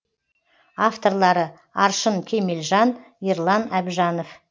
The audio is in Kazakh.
авторлары аршын кемелжан ерлан әбжанов